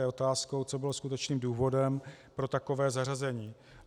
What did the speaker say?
Je otázkou, co bylo skutečným důvodem pro takové zařazení.